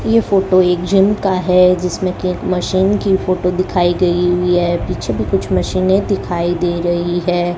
ये फोटो एक जिम का है जिसमें केक मशीन की फोटो दिखाई गई हुई है पीछे भी कुछ मशीने दिखाई दे रही है।